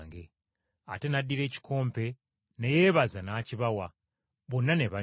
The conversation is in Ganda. Ate n’addira ekikompe ne yeebaza n’akibawa; bonna ne banywa.